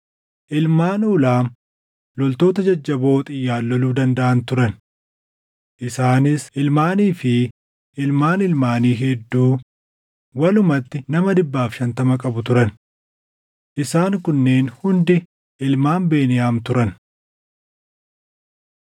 Ilmaan Uulaam loltoota jajjaboo xiyyaan loluu dandaʼan turan. Isaanis ilmaanii fi ilmaan ilmaanii hedduu walumatti nama 150 qabu turan. Isaan kunneen hundi ilmaan Beniyaam turan.